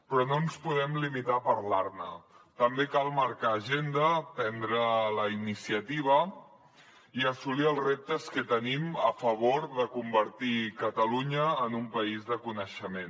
però no ens podem limitar a parlar ne també cal marcar agenda prendre la iniciativa i assolir els reptes que tenim a favor de convertir catalunya en un país de coneixement